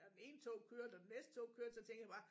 Og den ene tog kørte og det næste tog kørte så tænkte jeg bare